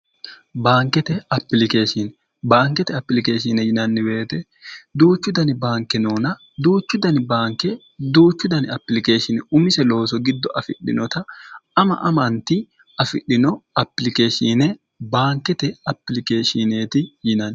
baankete apilikeeshiine baankete apilikeeshine yinanniweete duuchu dani baanke noona duuchu dani baanke duuchu dani apilikeeshini umise looso giddo afidhinota ama amanti afidhino ilikeshiine baankete apilikeeshineeti yinanni